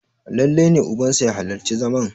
lallai ne ubansa ya halarci zaman!